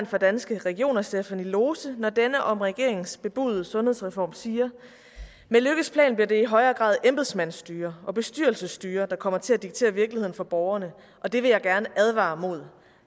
for danske regioner stephanie lose når denne om regeringens bebudede sundhedsreform siger med løkkes plan bliver det i højere grad embedsmandsstyre og bestyrelsesstyre der kommer til at diktere virkeligheden for borgerne og det vil jeg gerne advare mod